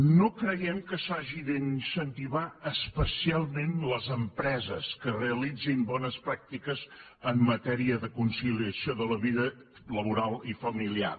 no creiem que s’hagin d’incentivar especialment les empreses que realitzin bones pràctiques en matèria de conciliació de la vida laboral i familiar